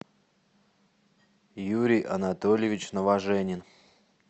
юрий анатольевич новоженин